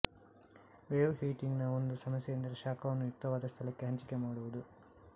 wave heating ನ ಒಂದು ಸಮಸ್ಯೆಯೆಂದರೆ ಶಾಖವನ್ನು ಯುಕ್ತವಾದ ಸ್ಥಳಕ್ಕೆ ಹಂಚಿಕೆ ಮಾಡುವುದು